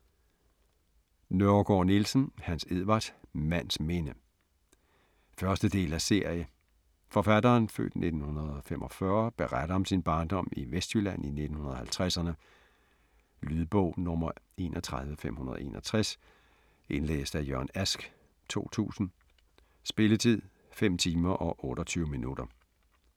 Nørregård-Nielsen, Hans Edvard: Mands minde 1. del af serie. Forfatteren (f. 1945) beretter om sin barndom i Vestjylland i 1950'erne. Lydbog 31561 Indlæst af Jørgen Ask, 2000. Spilletid: 5 timer, 28 minutter.